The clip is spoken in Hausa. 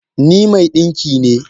Ni mai dinki ne